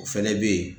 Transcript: O fɛnɛ bɛ ye